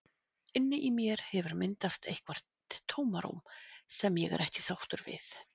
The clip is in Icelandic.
Inni í mér hefur myndast eitthvert tómarúm sem ég er ekki sáttur við.